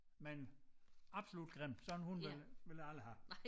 Men absolut grim sådan en hund vil ville jeg aldrig have